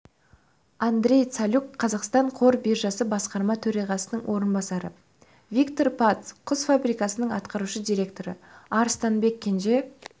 андрей цалюк қазақстан қор биржасы басқарма төрағасының орынбасары виктор пац құс фабрикасының атқарушы директоры арыстанбек кенже